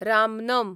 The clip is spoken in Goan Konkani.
रामनम